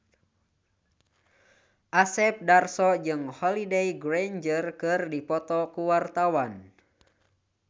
Asep Darso jeung Holliday Grainger keur dipoto ku wartawan